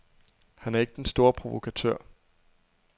Han er ikke den store provokatør.